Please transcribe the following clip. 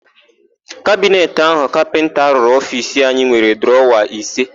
Kabineti áhụ̀ kapịnta rụrụ ofiisi anyị nwere drọwa ise.